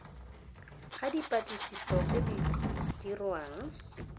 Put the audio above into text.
ga dipatlisiso tse di dirwang